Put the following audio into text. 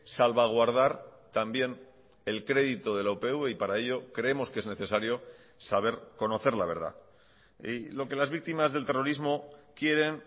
salvaguardar también el crédito de la upv y para ello creemos que es necesario saber conocer la verdad y lo que las víctimas del terrorismo quieren